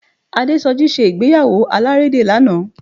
Adésọjí ṣe ìgbéyàwó alárédè lánàá